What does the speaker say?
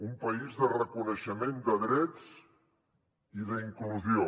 un país de reconeixement de drets i d’inclusió